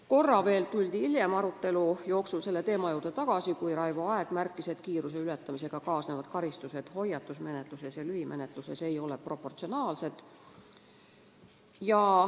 Korra veel tuldi hiljem arutelu jooksul selle teema juurde tagasi, kui Raivo Aeg märkis, et kiiruseületamisega kaasnevad karistused hoiatusmenetluses ja lühimenetluses ei ole proportsionaalsed.